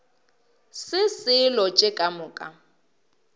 se selo tše ka moka